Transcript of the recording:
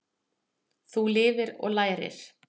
Þú lifir og lærir.